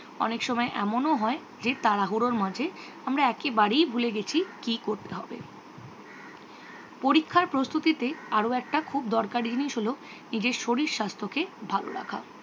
ওনেক সময় এমন হয় যে তারাহুরর মাঝে আমরা একেবারেই ভুলে গেছি কি করতে হবে। পরীক্ষার প্রস্তুতিতে আরও একটা খুব দরকারি জিনিস হল নিজের শরীর স্বাস্থ্যকে ভালো রাখা।